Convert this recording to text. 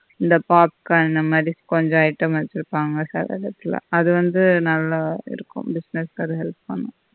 இந்த popcorn இந்த மாதி கொஞ்ச item வெச்சிருப்பாங்க சில இடத்தில அது வந்து நல்லா இருக்கும் business கு அது help பண்ணும்